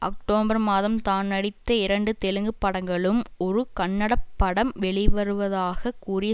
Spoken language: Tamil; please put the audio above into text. அக்டோபர் மாதம் தான் நடித்த இரண்டு தெலுங்கு படங்களும் ஒரு கன்னட படம் வெளிவருவதாக கூறிய